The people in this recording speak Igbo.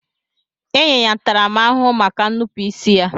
Enye ya ntarama ahuhu maka nnupu isi ya.